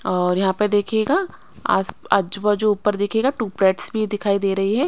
और यहां पर देखिएगा आज आजू-बाजू ऊपर देखिएगा टू प्लेट्स भी दिखाई दे रही है।